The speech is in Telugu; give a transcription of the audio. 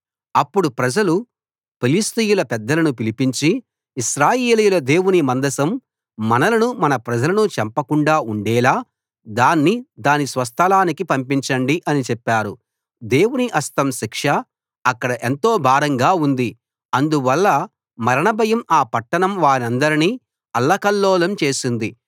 అప్పుడు ప్రజలు ఫిలిష్తీయుల పెద్దలను పిలిపించి ఇశ్రాయేలీయుల దేవుని మందసం మనలను మన ప్రజలను చంపకుండా ఉండేలా దాన్ని దాని స్వస్థలానికి పంపించండి అని చెప్పారు దేవుని హస్తం శిక్ష అక్కడ ఎంతో భారంగా ఉంది అందువల్ల మరణ భయం ఆ పట్టణం వారందరినీ అల్లకల్లోలం చేసింది